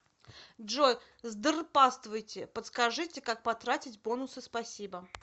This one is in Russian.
джой здрпаствуйте подскажите как потратить бонусы спасибо